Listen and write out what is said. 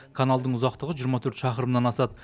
каналдың ұзақтығы жиырма төрт шақырымнан асады